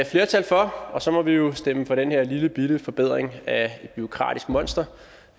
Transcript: flertal for og så må vi jo stemme for den her lillebitte forbedring af et bureaukratisk monster